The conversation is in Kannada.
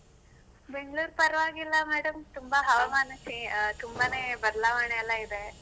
ಬೆಂಗ್ಳುರು ಪರ್ವಾಗಿಲ್ಲ madam ತುಂಬಾ cha~ ಅ ತುಂಬಾನೇ ಬದ್ಲಾವಣೆ ಎಲ್ಲ ಇದೆ.